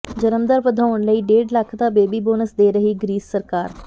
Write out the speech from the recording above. ਜਨਮ ਦਰ ਵਧਾਉਣ ਲਈ ਡੇਢ ਲੱਖ ਦਾ ਬੇਬੀ ਬੋਨਸ ਦੇ ਰਹੀ ਗਰੀਸ ਸਰਕਾਰ